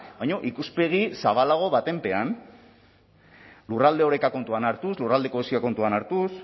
baino ikuspegi zabalago baten pean lurralde oreka kontuan hartuz lurralde kohesioa kontuan hartuz